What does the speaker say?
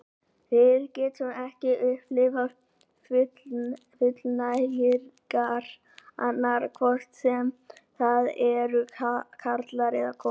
Við getum ekki upplifað fullnægingar annarra, hvort sem það eru karlar eða konur.